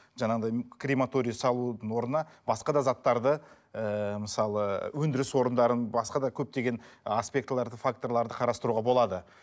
жаңағыдай крематорий салудың орнына басқа да заттарды ыыы мысалы өндіріс орындарын басқа да көптеген аспектілерді факторларды қарастыруға болады